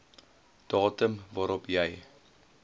datum waarop jy